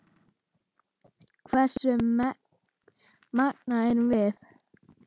Hversu menguð erum við?